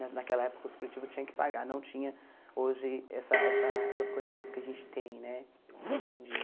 Naquela época o supletivo tinha que pagar, não tinha hoje essa essa essas condições que a gente tem né hoje em dia.